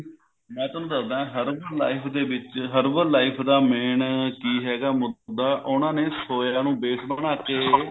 ਮੈਂ ਤੁਹਾਨੂੰ ਦੱਸਦਾ herbal life ਦੇ ਵਿੱਚ herbal life ਦਾ main ਕਿ ਹੈਗਾ ਮੁੱਦਾ ਉਹਨਾਂ ਨੇ soya ਨੂੰ base ਬਣਾਕੇ